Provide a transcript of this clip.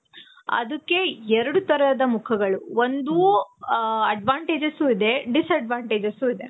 ಅದಕ್ಕೆ ಎರಡು ತರದ ಮುಖಗಳು, ಒಂದು ಹ advantages ಇದೆ. disadvantages ಇದೆ.